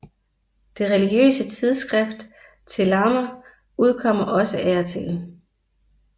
Det religiøse tidsskrift Te Lama udkommer også af og til